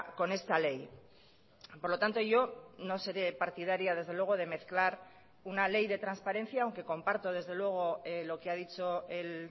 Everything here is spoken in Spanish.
con esta ley por lo tanto yo no seré partidaria desde luego de mezclar una ley de transparencia aunque comparto desde luego lo que ha dicho el